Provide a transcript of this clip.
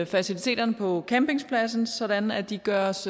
faciliteterne på campingpladsen sådan at de gøres